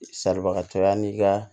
Saribagatɔ yan'i ka